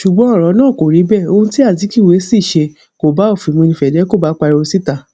ṣùgbọn ọrọ náà kò rí bẹẹ ohun tí azikiwe ṣì ṣe kò bá òfin mu ni fedeco bá pariwo síta